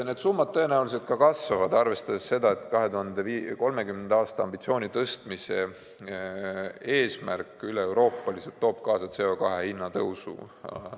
Need summad tõenäoliselt kasvavad, arvestades seda, et 2030. aasta ambitsiooni tõstmise eesmärk üleeuroopaliselt toob kaasa CO2 hinna tõusu.